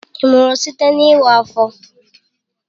Ị mụrụ site na iwa afọ?